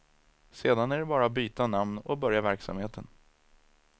Sedan är det bara att byta namn och börja verksamheten.